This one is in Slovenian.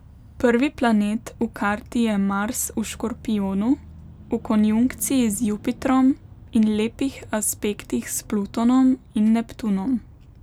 Prvi planet v karti je Mars v škorpijonu, v konjunkciji z Jupitrom in lepih aspektih s Plutonom in Neptunom.